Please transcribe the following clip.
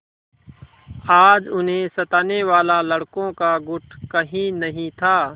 आज उन्हें सताने वाला लड़कों का गुट कहीं नहीं था